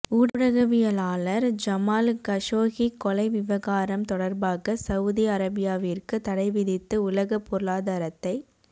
ஊடகவியலாளர் Jamal Khashoggi கொலை விவகாரம் தொடர்பாக சவுதி அரேபியாவிற்கு தடைவிதித்து உலகப் பொருளாதாரத்தை ச